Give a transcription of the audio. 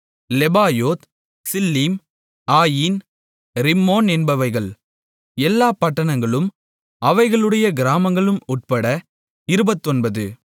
Lebaoth Shilhim Ain Rimmon என்பவைகள் எல்லாப் பட்டணங்களும் அவைகளுடைய கிராமங்களும் உட்பட இருபத்தொன்பது